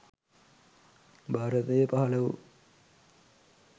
භාරතයේ පහළ වූ